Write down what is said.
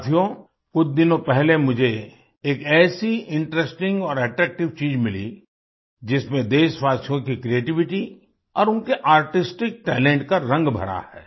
साथियो कुछ दिनों पहले मुझे एक ऐसी इंटरेस्टिंग और एट्रैक्टिव चीज़ मिली जिसमें देशवासियों की क्रिएटिविटी और उनके आर्टिस्टिक टैलेंट का रंग भरा है